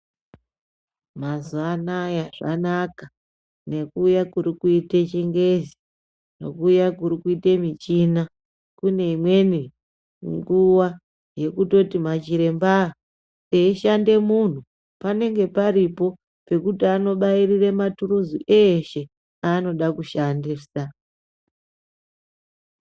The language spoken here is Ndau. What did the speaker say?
Mazuva anaya zvanaka neku uya kuri kuite chingezi neku uya kuri kuite muchina kune imweni nguva yeku toti ma chiremba eyi shande munhu panenge paripo pekuti ano bairire maturuzi eshe anoda ku shandisa.